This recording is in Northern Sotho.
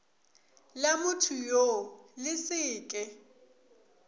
la mothoyoo le se ke